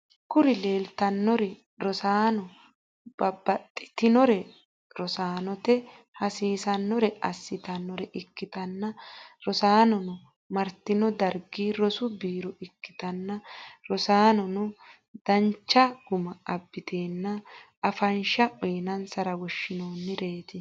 Kuri lelitanori rosanona babatitinore rossanote hasisnore assitanore ikitana rossanono maritino darigi rossu birro ikitana rosannono danicha guma abitena afanishsha uyinanisara woshshinoniret.